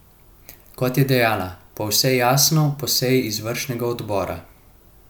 Kot je dejala, po vse jasno po seji izvršnega odbora.